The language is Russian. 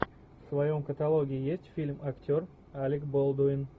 в твоем каталоге есть фильм актер алек болдуин